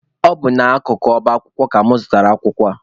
Ọ bụ n'akụkụ ọba akwụkwọ ka mụ zụtara akwụkwọ a.